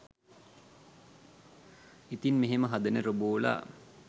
ඉතින් මෙහෙම හදන රොබෝලා